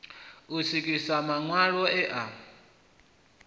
u swikiswa maṋwalo e a